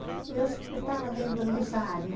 Eu sempre estava dentro dessa área.